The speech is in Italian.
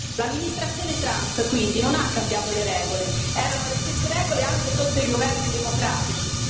L'amministrazione Trump, quindi, non ha cambiato le regole, erano le stesse regole anche sotto i governi democratici.